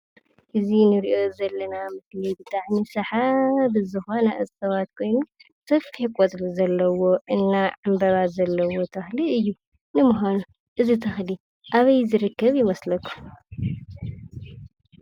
እዚ እንሪኦ ዘለና ብጣዕሚ ሰሓቢ ዝኮነ እፅዋት ኮይኑ ሰፊሕ ቆፅሊ ዘለዎን እና ዕንበባን ዘለዎን ተከሊ እዩ:: ንምካኑ እዚ ተከሊ አበይ ዝርከብ ይመስለኩም ?